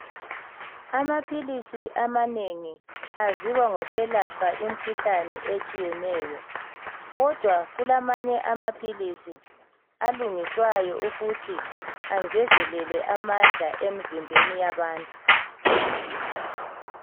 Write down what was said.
Amaphilisi amanengi aziwa ngokwelaphe imkhuhlani etshiyeneyo. Kodwa kulamanye amaphilisi alungiswayo ukuthi angezelele amandla emzimbeni yabantu.